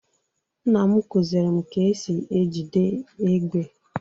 nnam kụziiri m ka e si ejide égbè.